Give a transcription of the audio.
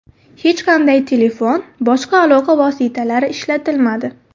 Hech qanday telefon, boshqa aloqa vositalari ishlatilmadi.